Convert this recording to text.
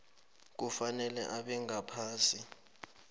kufanele abe ngaphasi